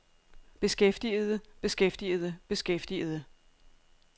beskæftigede beskæftigede beskæftigede